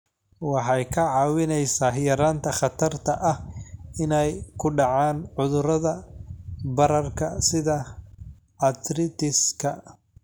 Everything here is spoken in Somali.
Waxay kaa caawinaysaa yaraynta khatarta ah inay ku dhacaan cudurrada bararka sida arthritis-ka.